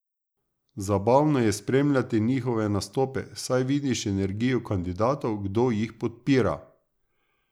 Zabavno je spremljati njihove nastope, saj vidiš energijo kandidatov, kdo jih podpira.